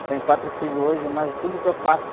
Eu tenho quatro filhos hoje, mas tudo que eu faço